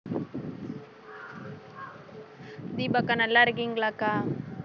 தீபா அக்கா நல்லா இருக்கீங்களாக்கா